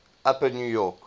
upper new york